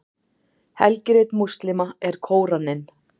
helgirit múslíma er kóraninn